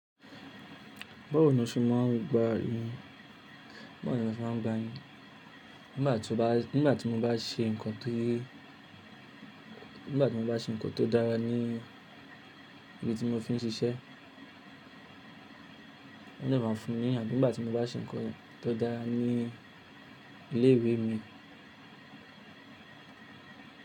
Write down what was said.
Báwo ni o ṣe máà ń gba ni? Báwo ni o ṣe máà ń gba ni? Nígbà tí o bá, nígbà tí mo bá ṣe nǹkan ti nígbà tí mo bá ṣe nǹkan tó dára ní ibi tí mo ti ń ṣiṣẹ́ ni máa ń fún ni àbí nígbà tí mo bá ṣe nǹkan tó dára ní ilé ìwé mi.